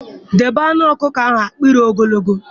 Debe anụ ọkụkọ ahụ, akpiri ogologo